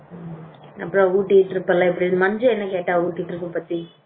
அப்புறம் அப்புறம் ஊட்டி trip எல்லாம் எப்படி இருக்கு மஞ்சுளா என்ன கேட்டா ஊட்டி trip பத்தி